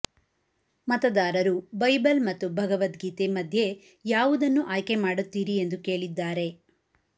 ಮತದಾರರು ಬೈಬಲ್ ಮತ್ತು ಭಗವದ್ಗೀತೆ ಮಧ್ಯೆ ಯಾವುದನ್ನು ಆಯ್ಕೆ ಮಾಡುತ್ತೀರಿ ಎಂದು ಕೇಳಿದ್ದಾರೆ